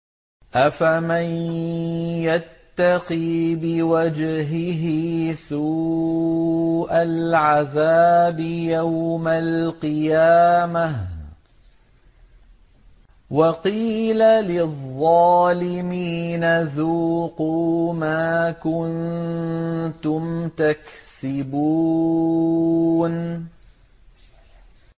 أَفَمَن يَتَّقِي بِوَجْهِهِ سُوءَ الْعَذَابِ يَوْمَ الْقِيَامَةِ ۚ وَقِيلَ لِلظَّالِمِينَ ذُوقُوا مَا كُنتُمْ تَكْسِبُونَ